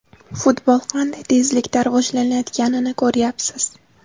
Futbol qanday tezlikda rivojlanayotganini ko‘ryapsiz.